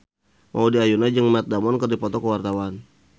Maudy Ayunda jeung Matt Damon keur dipoto ku wartawan